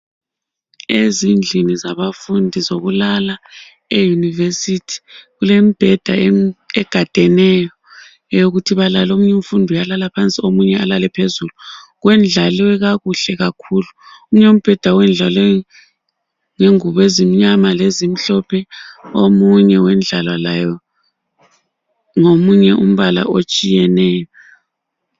Ezindlini zabafundi zokulala eyunivesithi kulemibheda egadeneyo yokuthi balale omunye umfundi uyalala phansi omunye alale phezulu. Kwedlalilwe kakuhle kakhulu omunye ubheda wedlaliwe ngengubo ezimnyama lezimhlophe omunye wedlala laye ngomunye umbala otshiyeneyo.